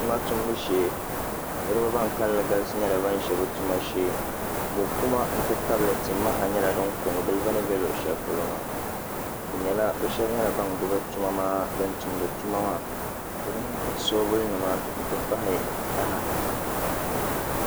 Tuma tumbu shee niraba ban kanli galisi nyɛla ban ʒi bi tuma shee mokuma n ti tabili timaha nyɛla din ko n gili bi ni bɛ luɣu shɛli polo maa bi shab nyɛla ban gbubi din tumdi tuma maa di mini soobuli nima n ti pahi taha